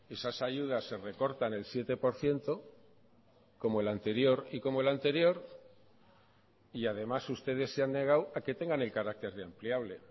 esas ayudas se recortan el siete por ciento como el anterior y como el anterior y además ustedes se han negado a que tengan el carácter de ampliable